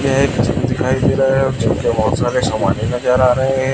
यह एक जिम दिखाई दे रहा है और जिम के बहोत सारे समाने नजर आ रहे हैं।